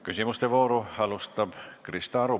Küsimuste vooru alustab Krista Aru.